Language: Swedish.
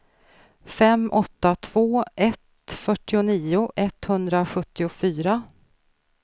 fem åtta två ett fyrtionio etthundrasjuttiofyra